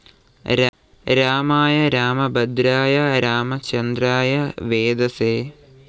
രാമായ രാമഭദ്രായ രാമചന്ദ്രായ വേധസേ